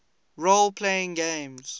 role playing games